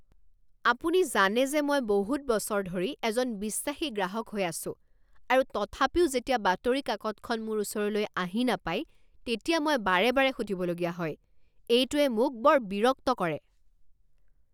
আপুনি জানে যে মই বহুত বছৰ ধৰি এজন বিশ্বাসী গ্ৰাহক হৈ আছোঁ আৰু তথাপিও যেতিয়া বাতৰি কাকতখন মোৰ ওচৰলৈ আহি নাপাই তেতিয়া মই বাৰে বাৰে সুধিবলগীয়া হয়। এইটোৱে মোক বৰ বিৰক্ত কৰে।